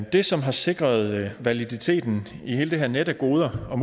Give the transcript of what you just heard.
det som har sikret validiteten i hele det her net af goder og